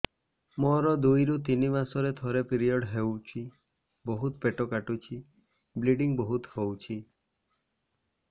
ମୋର ଦୁଇରୁ ତିନି ମାସରେ ଥରେ ପିରିଅଡ଼ ହଉଛି ବହୁତ ପେଟ କାଟୁଛି ବ୍ଲିଡ଼ିଙ୍ଗ ବହୁତ ହଉଛି